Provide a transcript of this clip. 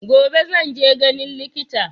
Gobe zan je ganin likita.